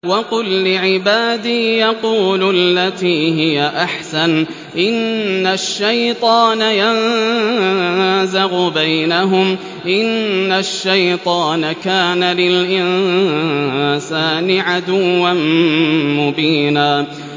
وَقُل لِّعِبَادِي يَقُولُوا الَّتِي هِيَ أَحْسَنُ ۚ إِنَّ الشَّيْطَانَ يَنزَغُ بَيْنَهُمْ ۚ إِنَّ الشَّيْطَانَ كَانَ لِلْإِنسَانِ عَدُوًّا مُّبِينًا